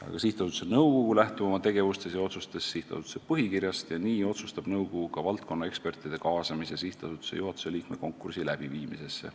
Aga sihtasutuse nõukogu lähtub oma tegevuses ja otsustes sihtasutuse põhikirjast ja nii otsustab nõukogu ka valdkonnaekspertide kaasamise sihtasutuse juhatuse liikme konkursi läbiviimisesse.